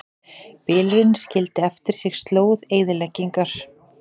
Bylurinn skildi eftir sig slóð eyðileggingar